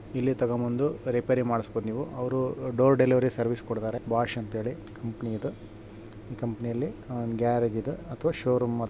ಇಲ್ಲಿ ತೊಗೊಂಡ್ ಬಂದು ರಿಪೈರಿ ಮಾಡ್ಸಬಹುದು ನಿವು ಅವರು ಡೋರ್ ಡೆಲಿವರಿ ಸರ್ವಿಸ್ ಕೊಡ್ತಾರೆ ಬೊಸ್ಚ್ ಅಂತ ಹೇಳಿ ಕಂಪನೀ ಇದೆ ಈ ಕಂಪನೀ ಯಲ್ಲಿ ಒಂದ ಗ್ಯಾರೇಜ್ ಇದೇ ಅಥವಾ ಷೋರೂಮ್ --